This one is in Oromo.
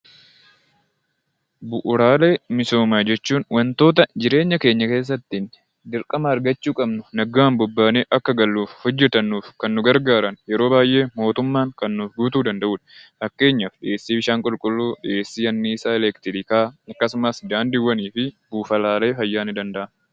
Bu'uuraalee misoomaa jechuun waantota jireenya keenyaa keessatti dirqama argachuu qabnu nagaan bobbaanee akka galuuf hojjetanuuf Kan nu gargaaru yeroo baayee mootummaan Kan nuuf guutuu danda'udha. Fakkeenyaaf dhiyeessi bishaan qulqulluu, dhiyeessi aniisaa elektiriikaa, akkasumas daandiiwwanifi buufatalee fayyaa ni danda'a.